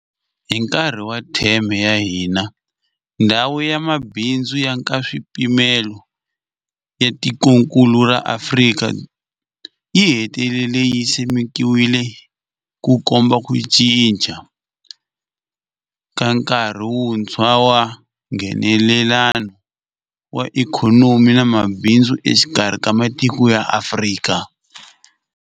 Hi nkarhi wa theme ya hina, Ndhawu ya Mabindzu ya Nkaswipimelo ya Tikokulu ra Afrika yi hetelele yi simekiwile, Ku komba ku cinca ka nkarhi wuntshwa wa Nghenelelano wa ikhonomi na mabindzu exikarhi ka matiko ya Afrika.